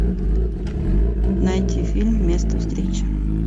найти фильм место встречи